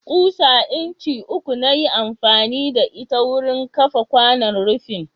Ƙusa incin uku na yi amfani da ita wurin kafa kwanon rufin.